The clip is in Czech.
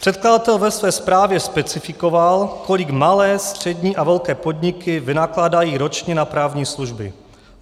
Předkladatel ve své zprávě specifikoval, kolik malé, střední a velké podniky vynakládají ročně na právní služby.